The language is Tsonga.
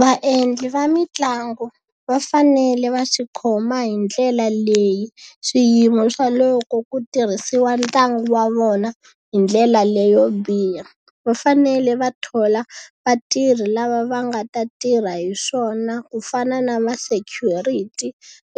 Vaendli va mitlangu va fanele va swi khoma hi ndlela leyi swiyimo swa loko ku tirhisiwa ntlangu wa vona hi ndlela leyo biha. Va fanele va thola vatirhi lava va nga ta tirha hi swona ku fana na ma security